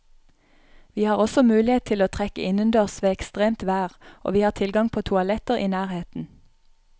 Vi har også mulighet til å trekke innendørs ved ekstremt vær og vi har tilgang på toaletter i nærheten.